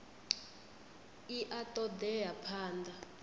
i a ṱo ḓea phanḓa